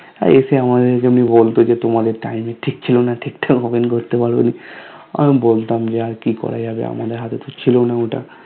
আর এসে আমাদের এখানে বলতো তোমাদের Time এর ঠিক ছিলোনা ঠিকঠাক Open করতে পারোনি আর আমি বলতাম যে আর কি করা যাবে আমাদের হাত এ ছিলোনা ওটা